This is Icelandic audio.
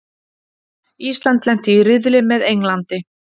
Ísland lenti í riðli með Englandi